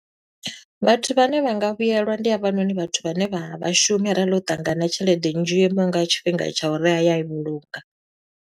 Vhathu vhane vha nga vhuyelwa, ndi havhanoni vhathu vhane vha vha shumi, arali o ṱangana na tshelede nnzhi yo imaho nga tshifhinga tsha uri a ya a i vhulunga.